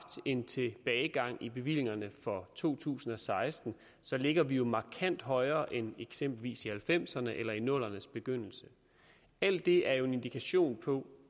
en tilbagegang i bevillingerne for to tusind og seksten ligger vi jo markant højere end eksempelvis i nitten halvfemserne eller i nullerne s begyndelse alt det er jo en indikation på